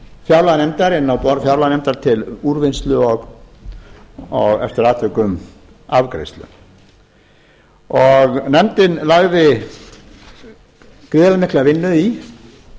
fjárlaganefndar inn á borð fjárlaganefndar til úrvinnslu og eftir atvikum afgreiðslu og nefndin lagði gríðarlega mikla vinnu í